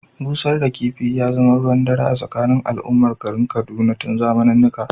Busar da kifi ya zama ruwan dare a tsakanin al’ummar garin Kaduna tun zamanennika.